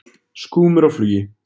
Skúmur á flugi.